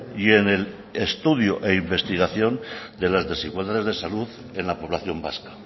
y en el estudio e investigación de las desigualdades de salud en la población vasca